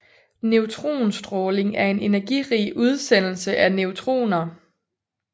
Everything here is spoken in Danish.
Neutronstråling er en energirig udsendelse af neutroner